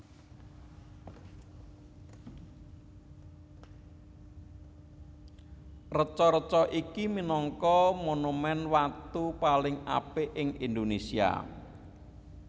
Reca reca iki minangka monumen watu paling apik ing Indonésia